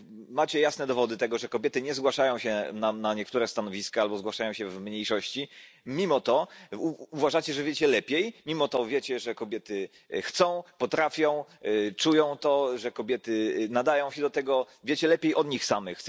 Macie jasne dowody tego, że kobiety nie zgłaszają się nam na niektóre stanowiska albo zgłaszają się w mniejszości, mimo to uważacie, że wiecie lepiej, mimo to wiecie, że kobiety chcą, potrafią, czują to, że kobiety nadają się do tego wiecie lepiej od nich samych.